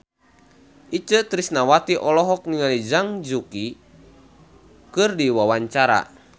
Itje Tresnawati olohok ningali Zhang Yuqi keur diwawancara